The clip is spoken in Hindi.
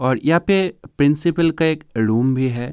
और यहाँ पे प्रिंसपल का एक रूम भी है।